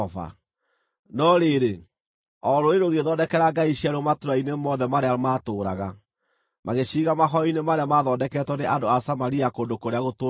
No rĩrĩ, o rũrĩrĩ rũgĩĩthondekera ngai ciaruo matũũra-inĩ mothe marĩa maatũũraga, magĩciiga mahooero-inĩ marĩa maathondeketwo nĩ andũ a Samaria kũndũ kũrĩa gũtũũgĩru.